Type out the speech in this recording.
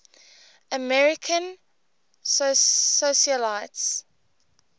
american socialites